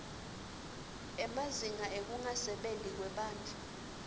emazinga ekungasebenti kwebantfu